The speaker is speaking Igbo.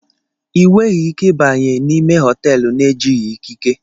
I weghi Ike ibanye n'ime họteelụ n'ejighi ikike